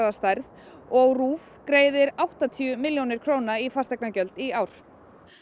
og RÚV greiðir áttatíu milljónir í fasteignagjöld í ár